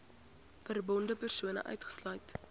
verbonde persone uitgesluit